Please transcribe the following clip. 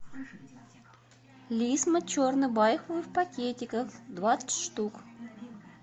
лисма черный байховый в пакетиках двадцать штук